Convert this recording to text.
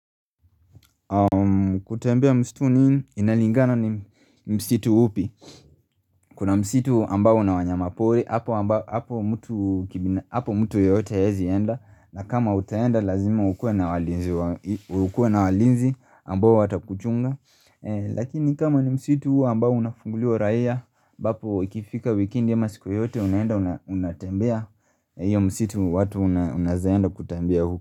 Kutembea msituni inalingana ni msitu upi Kuna msitu ambao una wanyama pori apo ambap apo mtu Apo mtu yoyote hazi enda na kama utenda lazima ukuwe na walinzi ukuwe na walinzi ambao watakuchunga Lakini kama ni msitu ambao unafunguliwa raia. Bapo ikifika wikendi ama siku yoyote Unaenda unatembea Iyo msitu watu unazenda kutembea uko.